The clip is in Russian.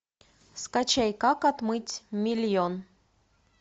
скачай как отмыть миллион